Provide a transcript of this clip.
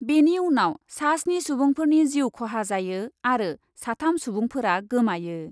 बेनि उनाव सास्नि सुबुंफोरनि जिउ खहा जायो आरो साथाम सुबुंफोरा गोमायो।